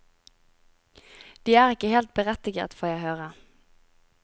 De er ikke helt berettiget, får jeg høre.